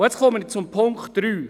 Nun komme ich zum Punkt 3: